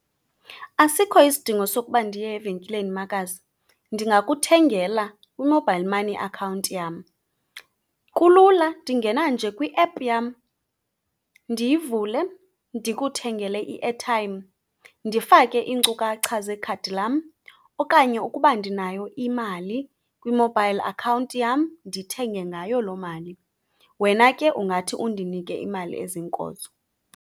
Asikho isidingo sokuba ndiye evenkileni, makazi. Ndingakuthengela kwi-mobile money account yam. Kulula, ndingena nje kwi-app yam ndiyivule ndikuthengele i-airtime. Ndifake iinkcukacha zekhadi lam okanye ukuba ndinayo imali kwi-mobile account yam, ndithenge ngayo loo mali. Wena ke ungathi undinike imali eziinkozo.